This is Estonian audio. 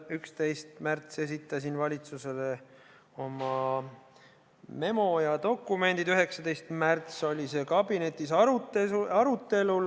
11. märtsil ma esitasin valitsusele oma memo ja dokumendid, 19. märtsil oli see kabinetis arutelul.